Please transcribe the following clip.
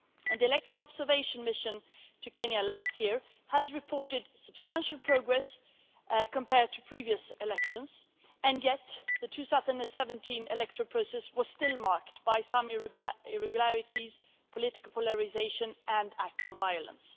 The electoral observation mission to Kenya last year has reported substantial progress compared to previous elections, and yet the 2017 electoral process was still marked by some irregularities, political polarisation and acts of violence.